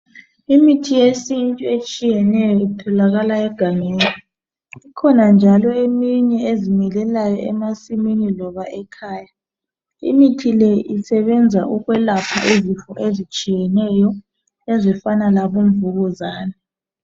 Imithi yesintu etshiyeneyo itholakala egangeni ikhona njalo eminye ezimilelayo emasimini loba ekhaya imithi le isebenza ukwelapha izifu ezitshiyeneyo ezifana labomvukuzane